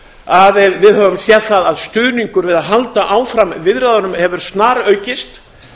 að við höfum séð það að stuðningur við að halda áfram viðræðunum hefur snaraukist